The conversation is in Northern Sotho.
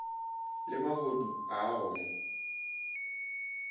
le mahodu a go mo